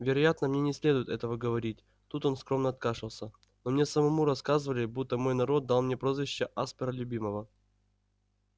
вероятно мне не следует этого говорить тут он скромно откашлялся но мне самому рассказывали будто мой народ дал мне прозвище аспера любимого